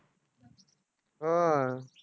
होय